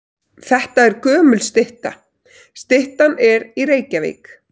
Þetta er gömul stytta. Styttan er í Reykjavík.